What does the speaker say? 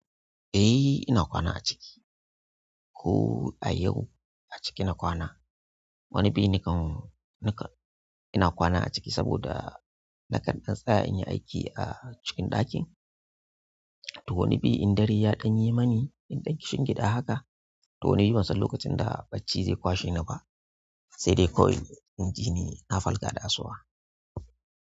Eh ina kwana a ciki. Ko a yau a ciki na kwana. Wani bi nakan, nakan ina kwana a ciki saboda nakan ɗan tsaya in yi aiki a cikin ɗakin. To wani bi in dare ya ɗan yi mani, in ɗan kishi gida haka, to wani bi ban san lokacin da bacci zai kwashe ni ba, sai dai kawai inji ni na farka da asuwa.